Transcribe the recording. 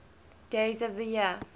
days of the year